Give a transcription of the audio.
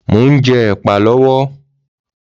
Mò ń jẹ èpà lọ́wọ́